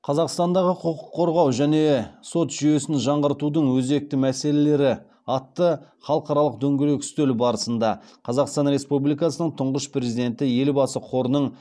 қазақстандағы құқық қорғау және сот жүйесін жаңғыртудың өзекті мәселелері атты халықаралық дөңгелек үстел барысында қазақстан республикасының тұңғыш президенті елбасы қорының